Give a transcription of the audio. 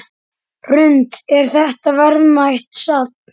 Hrund: Er þetta verðmætt safn?